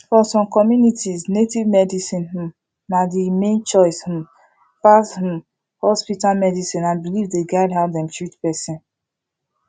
for some communities native medicine um na the main choice um pass um hospital medicine and belief dey guide how dem treat person